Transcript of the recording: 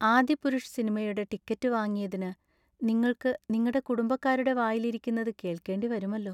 ആദിപുരുഷ് സിനിമയുടെ ടിക്കറ്റു വാങ്ങിയതിനു നിങ്ങൾക്ക് നിങ്ങടെ കുടുംബക്കാരുടെ വായിലിരിക്കുന്നത് കേൾക്കേണ്ടി വരുമല്ലോ.